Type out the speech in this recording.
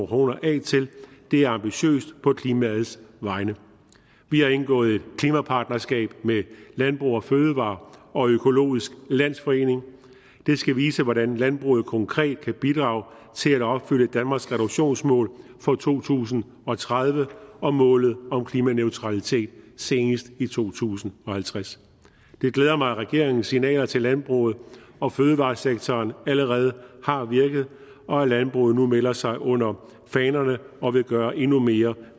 kroner af til det er ambitiøst på klimaets vegne vi har indgået et klimapartnerskab med landbrug fødevarer og økologisk landsforening det skal vise hvordan landbruget konkret kan bidrage til at opfylde danmarks reduktionsmål for to tusind og tredive og målet om klimaneutralitet senest i to tusind og halvtreds det glæder mig at regeringens signaler til landbruget og fødevaresektoren allerede har virket og at landbruget nu melder sig under fanerne og vil gøre endnu mere